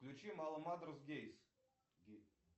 включи маламадрос геймс